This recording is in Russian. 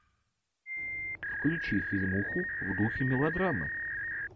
включи фильмуху в духе мелодрамы